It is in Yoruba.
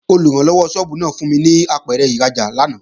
Olùrànlọ́wọ́ sọ́ọ́bù náà fún mi ní apẹ̀rẹ̀ ìrajà lánàá